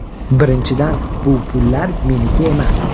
Birinchidan, bu pullar meniki emas.